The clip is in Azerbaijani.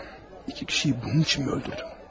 İki nəfəri bunun üçünmü öldürdüm?